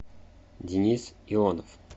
денис ионов